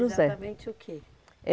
E era exatamente o quê?